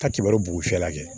Ka kibaru bugun cɛ la kɛ